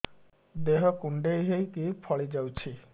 ଦେହ କୁଣ୍ଡେଇ ହେଇକି ଫଳି ଯାଉଛି